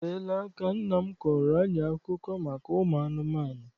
O teela aka nna m kọọrọ anyị akụkọ maka ụmụ anụmanụ.